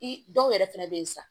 I dɔw yɛrɛ fɛnɛ be yen sisan